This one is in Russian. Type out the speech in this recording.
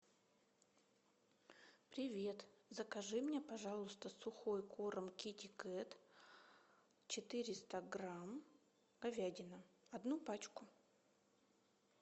привет закажи мне пожалуйста сухой корм китикет четыреста грамм говядина одну пачку